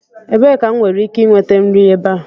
Ebee ka m nwere ike nweta nri ebe a?